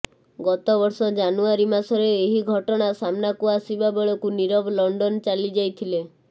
ଗତବର୍ଷ ଜାନୁଆରୀ ମାସରେ ଏହି ଘଟଣା ସାମ୍ନାକୁ ଆସିବା ବେଳକୁ ନିରବ ଲଣ୍ଡନ ଚାଲିଯାଇଥିଲେ